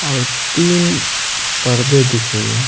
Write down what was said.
और तीन पर्दे दिख रही है।